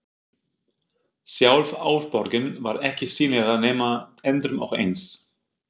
Sjálf Álfaborgin var ekki sýnileg nema endrum og eins.